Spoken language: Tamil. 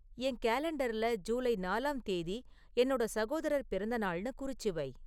என் கேலண்டர்ல ஜூலை நாலாம் தேதி என்னோட சகோதரர் பிறந்தநாள்னு குறிச்சு வை